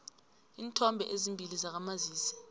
iinthombe ezimbili zakamazisi